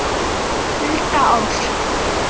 Það gerir dekkin svört.